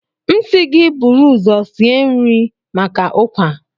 M si gi buru uzo sie nri nri maka Ukwa.